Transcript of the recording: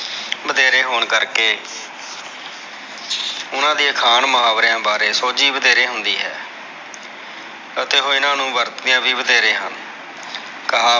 ਮਧੇਰੇ ਹੋਣ ਕਰਕੇ ਓਹਨਾ ਦੀ ਅਖਾਣ ਮੁਹਾਵਰਿਆਂ ਬਾਰੇ ਸੋਜੀ ਵਧੇਰੀ ਹੁੰਦੀ ਹੈ ਉਤੇ ਉਹ ਇਹਨਾਂ ਨੂੰ ਵਰਤਦੇ ਵੀ ਵਧੇਰੇ ਹਨ ਕਹਾਵਤਾਂ ਵਿਚ ਨੈਤਿਕਤਾ ਦੇ ਨੇਮ ਹੁੰਦੇ ਹਨ।